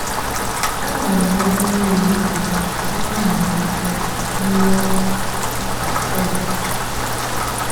Ha na-aṅụ mmiri mmiri tupu ha amalite nri ụtụtụ kwa ụbọchị.